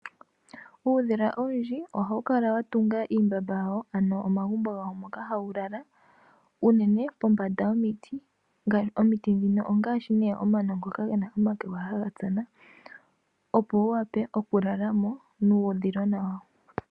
Uudhila owundji ohawu kala wa tunga iihadhila yawo, ano omagumbo moka hawu lala, unene pombanda yomiti. Omiti ndhino ongaashi nduno omano ngoka ge na omakwega haga tsana, opo wu wape okulala mo nuudhilona wawo.